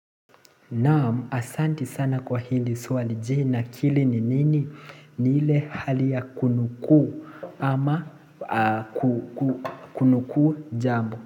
Naam asanti sana kwa hili swali.je nakili ni nini? Ni ile hali ya kunukuu ama kunukuu jambo.